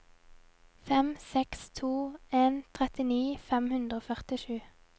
fem seks to en trettini fem hundre og førtisju